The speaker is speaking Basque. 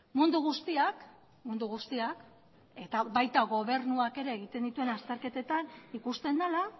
mundu guztiak mundu guztiak eta baita gobernuak ere egiten dituen azterketetan ikusten dela